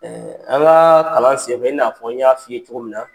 an kaa kalan sen fɛ i n'a fɔ n y'a f'i ye cogo min na